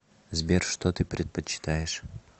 сбер что ты предпочитаешь